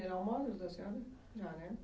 Da senhora? Já, né?